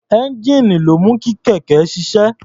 Ẹ́ńjíìnì ló ń mú kí kẹ̀kẹ́ ṣiṣẹ́.